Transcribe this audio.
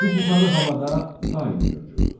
Su buxarı havada daim mövcuddur.